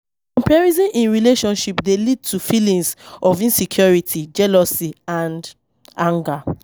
Comparison in relationships dey lead to feelings of insecurity, jealousy and anger.